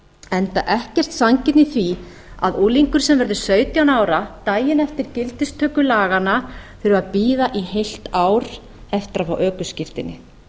enda engin sanngirni í því að unglingur sem verður sautján ára daginn eftir gildistöku laganna þurfi að bíða í heilt ár eftir að fá ökuskírteini